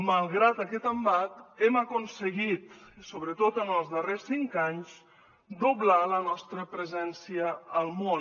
malgrat aquest embat hem aconseguit sobretot en els darrers cinc anys doblar la nostra presència al món